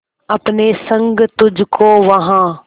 अपने संग तुझको वहां